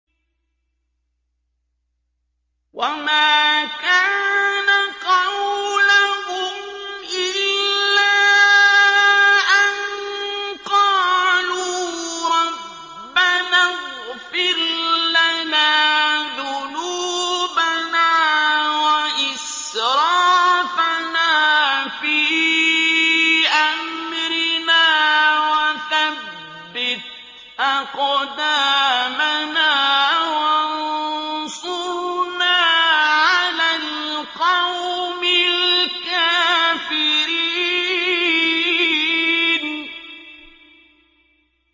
وَمَا كَانَ قَوْلَهُمْ إِلَّا أَن قَالُوا رَبَّنَا اغْفِرْ لَنَا ذُنُوبَنَا وَإِسْرَافَنَا فِي أَمْرِنَا وَثَبِّتْ أَقْدَامَنَا وَانصُرْنَا عَلَى الْقَوْمِ الْكَافِرِينَ